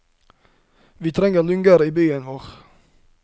Vi trenger lunger i byen vår.